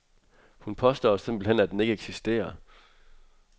Hun påstår simpelthen, at den ikke eksisterer.